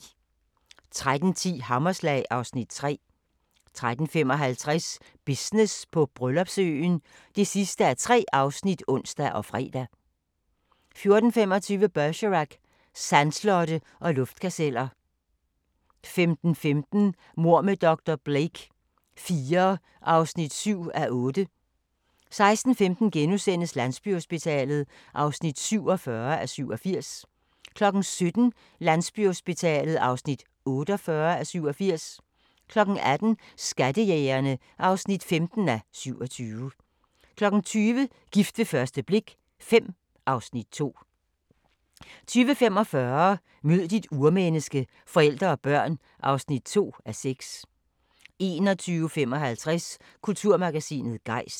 13:10: Hammerslag (Afs. 3) 13:55: Business på Bryllupsøen (3:3)(ons og fre) 14:25: Bergerac: Sandslotte og luftkasteller 15:15: Mord med dr. Blake IV (7:8) 16:15: Landsbyhospitalet (47:87)* 17:00: Landsbyhospitalet (48:87) 18:00: Skattejægerne (15:27) 20:00: Gift ved første blik V (Afs. 2) 20:45: Mød dit urmenneske – forældre og børn (2:6) 21:55: Kulturmagasinet Gejst